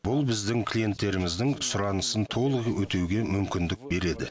бұл біздің клиенттеріміздің сұранысын толық өтеуге мүмкіндік береді